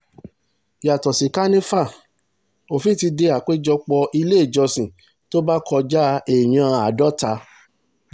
yàtọ̀ sí kànìfà òfin ti dé àpéjọpọ̀ iléèjọsìn tó bá kọjá èèyàn àádọ́ta